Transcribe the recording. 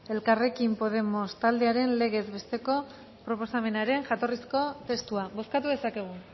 elkarrekin podemos taldearen legez besteko proposamenaren jatorrizko testua bozkatu dezakegu